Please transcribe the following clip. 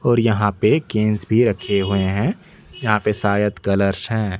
और यहां पे केंश भी रखे हुए हैं यहां पे शायद कलर्स है।